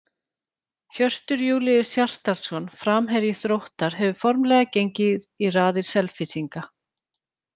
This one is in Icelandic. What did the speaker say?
Hjörtur Júlíus Hjartarson, framherji Þróttar, hefur formlega gengið í raðir Selfyssinga.